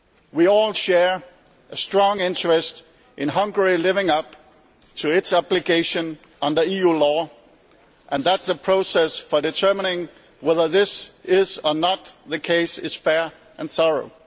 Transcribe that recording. We all share a strong interest in Hungary living up to its application under EU law and, in the process for determining whether this is or is not the case, being fair and thorough.